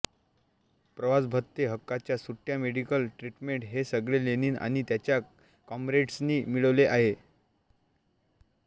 प्रवासभत्ते हक्काच्या सुट्या medical treatment हे सगळे लेनिन आणि त्याच्या कॉम्रेड्सनी मिळवले आहे